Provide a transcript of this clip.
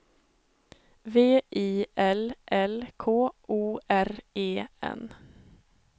V I L L K O R E N